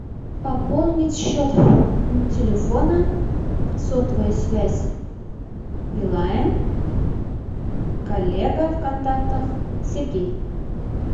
пополнить счет телефона сотовая связь билайн коллега в контактах сергей